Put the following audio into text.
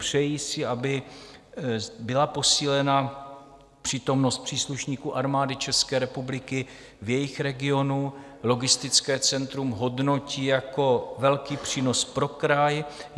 Přejí si, aby byla posílena přítomnost příslušníků Armády České republiky v jejich regionu, logistické centrum hodnotí jako velký přínos pro kraj.